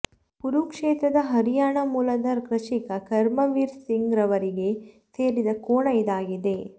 ಕುರುಕ್ಷೇತ್ರದ ಹರಿಯಾಣ ಮೂಲದ ಕೃಷಿಕ ಕರ್ಮವೀರ ಸಿಂಗ್ ರವರಿಗೆ ಸೇರಿದೆ ಕೋಣ ಇದಾಗಿದೆ